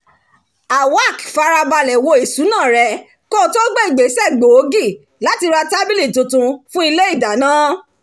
awak farabalẹ̀ wo ìṣúná rẹ̀ kó tó gbé ìgbésẹ̀ gbòógì láti ra tábìlì tuntun ti ilé ìdáná